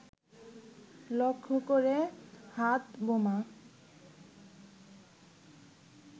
লক্ষ্য করে হাতবোমা